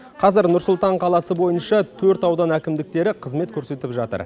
қазір нұр сұлтан қаласы бойынша төрт аудан әкімдіктері қызмет көрсетіп жатыр